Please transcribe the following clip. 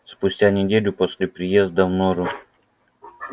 спустя неделю после приезда в нору